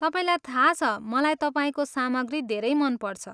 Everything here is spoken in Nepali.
तपाईँलाई थाहा छ मलाई तपाईँको सामग्री धेरै मनपर्छ।